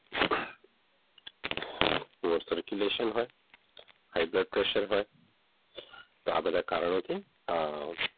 તેમાં circulation હોય high blood pressure હોય આ બધા કારણોથી,